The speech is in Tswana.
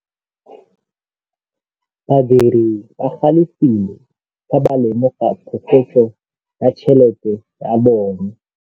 Badiri ba galefile fa ba lemoga phokotsô ya tšhelête ya bone.